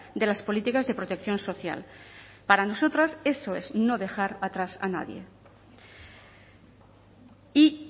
de las políticas de protección social para nosotras eso es no dejar atrás a nadie y